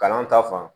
Kalan ta fan